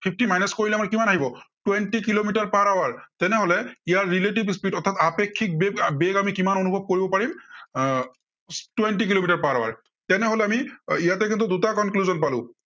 fifty minus কৰিলে আমাৰ কিমান আহিব, twenty কিলোমিটাৰ per hour তেনেহলে, ইয়াৰ relative speed অৰ্থাত আপেক্ষিক বেগ আমি অনুভৱ কৰিব পাৰিম এৰ twenty কিলোমিটাৰ per hour, আমি ইয়াতে কিন্তু দুটা conclusion পালো